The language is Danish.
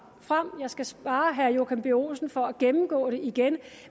frem jeg skal spare herre joachim b olsen for at gennemgå det igen